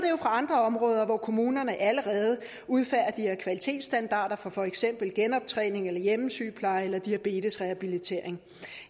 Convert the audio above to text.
fra andre områder hvor kommunerne allerede udfærdiger kvalitetsstandarder for for eksempel genoptræning hjemmesygepleje eller diabetesrehabilitering